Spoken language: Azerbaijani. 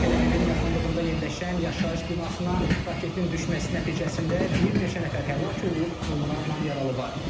Tel-Əvivin yaxınlığında yerləşən yaşayış binasına raketin düşməsi nəticəsində bir neçə nəfər həlak olub, onlarla yaralı var.